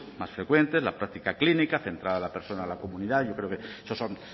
más frecuentes la práctica clínica centrada en la persona y la comunidad yo creo que eso son